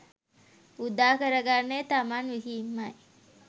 උදාකර ගන්නේ තමන් විහින්මයි.